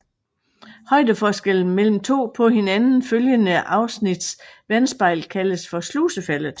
Højdeforskellen mellem to på hinanden følgende afnits vandspejl kaldes slusefaldet